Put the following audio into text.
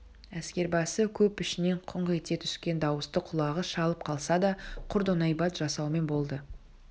әскербасы көп ішінен күңк ете түскен дауысты құлағы шалып қалса да құр доңайбат жасаумен болды